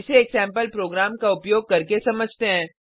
इसे एक sample program का उपयोग करके समझते हैं